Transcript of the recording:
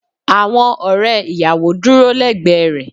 Awon ore iyawo duro legbe re.